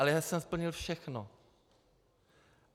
Ale já jsem splnil všechno.